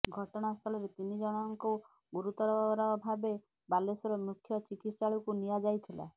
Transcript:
ଘଟଣାସ୍ଥଳରେ ତିନି ଜଣଙ୍କୁ ଗୁରୁତର ଭାବେ ବାଲେଶ୍ବର ମୁଖ୍ୟ ଚିକତ୍ସାଳୟ କୁ ନିଆ ଯାଇଥିଲା